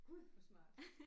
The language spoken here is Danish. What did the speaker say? Gud hvor smart